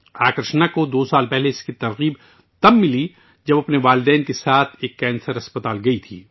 آکارشنا کو دو سال پہلے اس وقت تحریک ملی جب وہ اپنے والدین کے ساتھ کینسر اسپتال گئیں